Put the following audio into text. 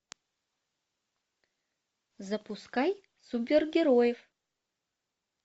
запускай супергероев